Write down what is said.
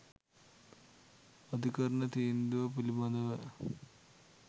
"අධිකරණ තීන්දුව පිළිබඳව